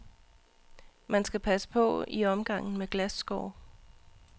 Man skal passe på i omgangen med glasskår.